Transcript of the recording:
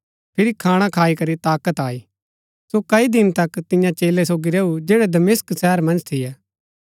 फिरी खाणा खाई करी ताकत आई सो कई दिन तक तियां चेलै सोगी रैऊ जैड़ै दमिशक शहर मन्ज थियै